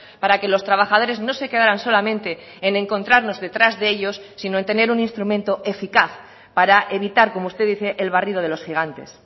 para que los trabajadores no se quedaran solamente en encontrarnos detrás de ellos sino en tener un instrumento eficaz para evitar como usted dice el barrido de los gigantes